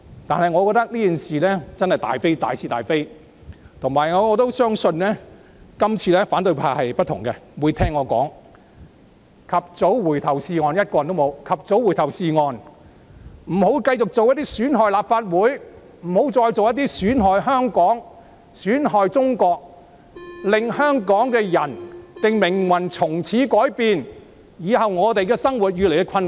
不過，我認為《逃犯條例》修訂爭議涉及大是大非，而且反對派這次的反應可能不同，他們或會聽我的話，及早回頭是岸——沒有一位反對派議員在席——不要繼續做些損害立法會、香港及中國，令香港人的命運從此改變的事情，令我們日後的生活越益困難。